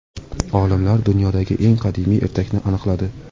Olimlar dunyodagi eng qadimiy ertakni aniqladi.